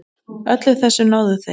Öllu þessu náðu þeir.